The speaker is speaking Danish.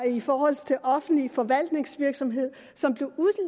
i forhold til offentlig forvaltningsvirksomhed som blev